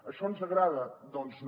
això ens agrada doncs no